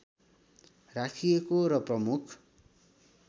राखिएको र प्रमुख